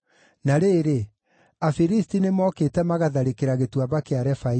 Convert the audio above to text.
Na rĩrĩ, Afilisti nĩmookĩte magatharĩkĩra Gĩtuamba kĩa Refaimu;